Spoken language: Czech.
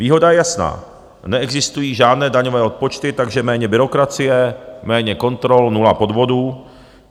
Výhoda je jasná, neexistují žádné daňové odpočty, takže méně byrokracie, méně kontrol, nula podvodů.